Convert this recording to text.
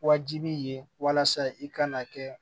Wajibi ye walasa i kana kɛ